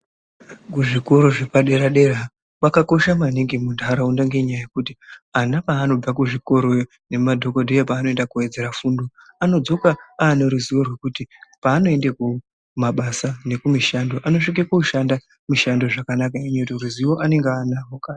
Kuzvikora zvepadera-dera zvakakosha maningi munharaunda .Ngenyaya yekuti ana paanobva kuzvikoroyo nemadhokodheya panoenda kowedzere fundo anodzoka ane ruzivo rwekuti paanoenda kumabasa nekumishando anosvika koshanda, mishando zvakanaka ende ruzivo anenge anarwo kare.